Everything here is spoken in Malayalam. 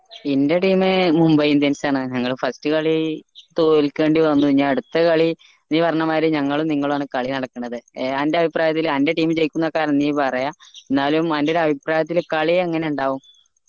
എന്റെ team മുംബൈ indians ആണ് ഞങ്ങളെ first കളി തോൽക്കേണ്ടി വന്നു ഇനി അട്ത്ത കളി നീ പറഞ്ഞ മായിരി ഞങ്ങളും നിങ്ങളുമാണ് കളി നടക്കുണത് ഏഹ് അന്റെ അഭിപ്രായത്തിൽ അന്റെ team ജയിക്കുന്ന് ആയിക്കാരം നീ പറയാ എന്നാലും എന്റെ ഒരു അഭിപ്രായത്തിൽ കളി എങ്ങനെ ഇണ്ടാവും